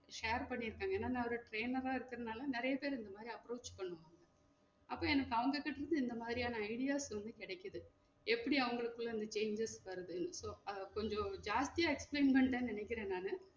Share பண்ணீருக்காங்க ஏனா நா ஒரு trainer ஆ இருக்குறதுனால நெறைய பேரு இந்த மாதிரி approach பண்ணுவாங்க அப்போ எனக்கு அவங்க கிட்ட இருந்து இந்த மாதிரியான ideas வந்து கிடைக்குது எப்டி அவங்களுக்குள்ள இந்த changes வருது so அஹ் கொஞ்சம் ஜாஸ்த்தியா explain பண்ணிட்டன் நெனைக்குரன் நானு